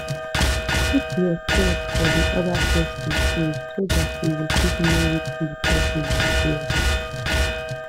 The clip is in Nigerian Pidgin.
put yourseld for di oda person shoes so dat you go fit know wetin di person dey feel